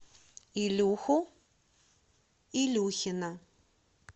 илюху илюхина